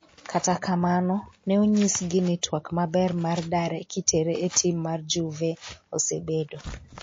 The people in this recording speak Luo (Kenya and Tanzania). kata kamano ,ne onyisgi ni twak maber mar dare kitere e tim mar Juve osebedo